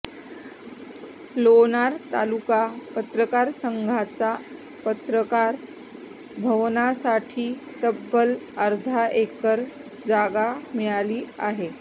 लोणार तालुका पत्रकार संघाला पत्रकार भवनासाठी तब्बल अर्धा एकर जागा मिळाली आहे